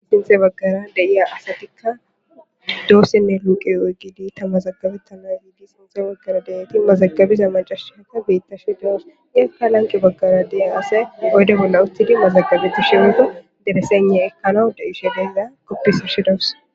Sinxe baggara deiya asatikka doossinne luuqe oygidi tamazagabettana yiidi sinxe baggara deyati mazagabiza macashata beittashi doos .Iyyippe lanqqe baggara de7iya asay gode bolla uttidi mazagabeti shimmido deresenne ekkano de7ishe beeza koppisashe dawus.